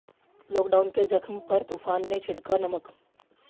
lockdown के जख्म पर तूफान ने छिड़का नमक